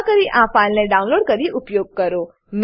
કૃપા કરી આ ફાઈલને ડાઉનલોડ કરીને ઉપયોગ કરો